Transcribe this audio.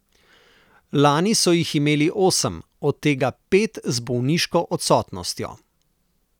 Lani so jih imeli osem, od tega pet z bolniško odsotnostjo.